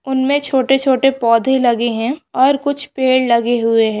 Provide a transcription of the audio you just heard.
उनमे छोटे छोटे पौधे लगे है और कुछ पेड़ लगे हुए है।